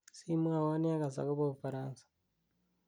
simwotwon yegas agopo ufaransa